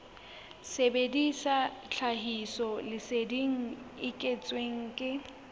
sebedisa tlhahisoleseding e kentsweng ke